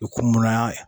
U kun muran